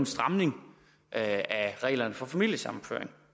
stramning af reglerne for familiesammenføring